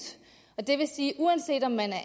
og det vil sige at uanset om man er